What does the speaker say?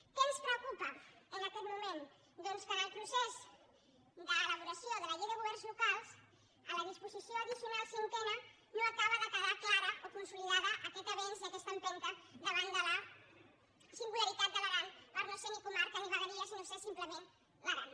què ens preocupa en aquest moment doncs que en el procés d’elaboració de la llei de governs locals a la disposició addicional cinquena no acaba de quedar clar o consolidat aquest avenç i aquesta empenta davant de la singularitat de l’aran per no ser ni comarca ni vegueria sinó ser simplement l’aran